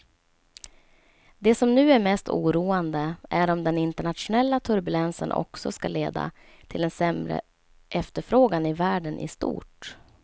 Det som nu är mest oroande är om den internationella turbulensen också ska leda till en sämre efterfrågan i världen i stort.